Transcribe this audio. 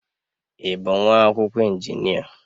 Ị bụ nwa akwụkwọ injinia?